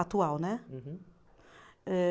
Atual, né? Uhum. Eh